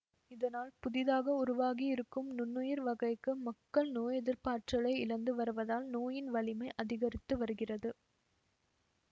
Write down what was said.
இதனால் புதிதாக உருவாகியிருக்கும் நுண்ணுயிர் வகைக்கு மக்கள் நோயெதிர்ப்பாற்றலை இழந்து வருவதால் நோயின் வலிமை அதிகரித்து வருகிறது